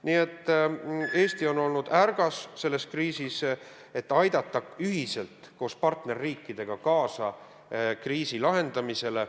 Nii et Eesti on olnud ärgas selles kriisis, et aidata ühiselt koos partnerriikidega kaasa kriisi lahendamisele.